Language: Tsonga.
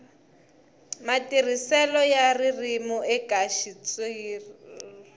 matirhiselo ya ririmi eka xitshuriwa